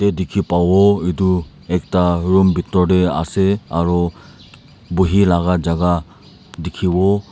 tey dikhi pawo itu ekta room bitor ase aro buhi laga jaga dikhiwo.